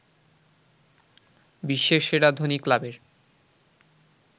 বিশ্বের সেরা ধনী ক্লাবের